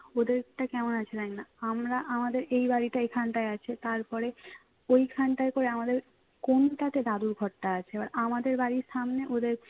ওদেরটা কেমন আছে জানি না আমরা আমাদের এই বাড়িটা এইখানটায় আছে তারপরে ওইখানটায় করে আমাদের কোনটাতে দাদুর ঘরটা আছে এবার আমাদের বাড়ির সামনে ওদের